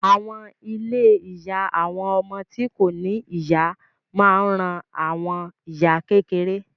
Àwọn ilé ìyá àwọn ọmọ tí kò ní ìyá máa ń ran àwọn ìyá kékeré